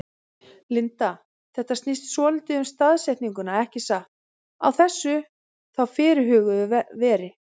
Linda: Þetta snýst svolítið um staðsetninguna ekki satt, á þessu þá fyrirhuguðu veri?